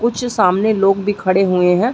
कुछ सामने लोग भी खड़े हुए हैं।